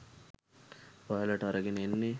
ඔයාලට අරගෙන එන්නෙ